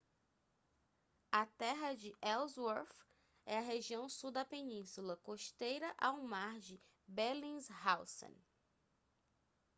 a terra de ellsworth é a região sul da península costeira ao mar de bellingshausen